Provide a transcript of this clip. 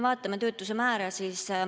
Vaatame töötuse määra.